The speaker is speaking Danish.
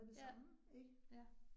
Ja, ja